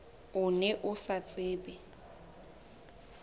o ne o sa tsebe